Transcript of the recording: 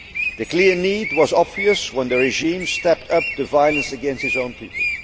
met. The clear need was obvious when the regime stepped up the violence against its own people.